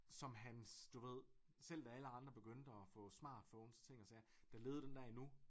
Som hans du ved selv da alle andre begyndte at få smartphones og ting og sager der levede den der endnu